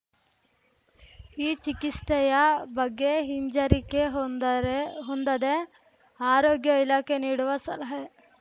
ಈ ಚಿಕಿಸ್ತೆಯ ಬಗ್ಗೆ ಹಿಂಜರಿಕೆ ಹೊಂದರೆ ಹೊಂದದೆ ಆರೋಗ್ಯ ಇಲಾಖೆ ನೀಡುವ ಸಲಹೆ